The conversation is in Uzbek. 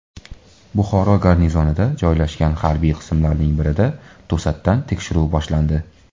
Buxoro garnizonida joylashgan harbiy qismlarning birida to‘satdan tekshiruv boshlandi .